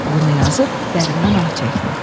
Bunu yazıb dərindən ah çəkdi.